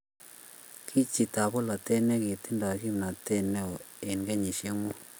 kii chitab bolatet netingdoi kimnatet neoo eng' kenyisiek mut.